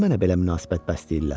Niyə mənə belə münasibət bəsləyirlər?